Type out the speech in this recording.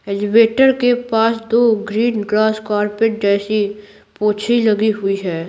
Elevator के पास दो ग्रीन ग्रास कारपेट जैसी पोछी लगी हुई है।